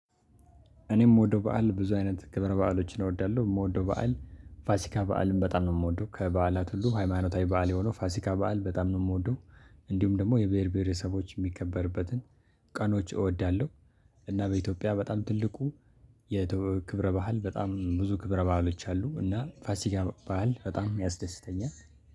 እኔ የምወደው በዓል ብዙ አይነት ክብረ በዓሎችን እወዳለሁ። የምወደው በዓል ፋሲካ በዓልን በጣም ነው የምወደው። ከበዓላት ሁሉ ሃይማኖታዊ በዓል የሆነው ፋሲካ በዓል በጣም ነው የምወደው። እንዲሁም ደግሞ የብሄር ብሄረሰቦች የሚከበርበትን ቀኖች እወዳለሁ። እና በኢትዮጵያ በጣም ትልቁ የክብረ በዓል በጣም ብዙ ክብረ በዓሎች አሉ። እና ፋሲካ በዓል በጣም የሚያስደስተኛል።